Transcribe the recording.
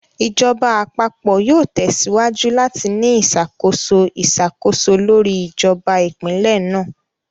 Ìjọba Àpapọ̀ yóò tẹsíwájú láti ní ìṣàkóso iṣakoso lórí ìjọba Ìpínlẹ̀ náà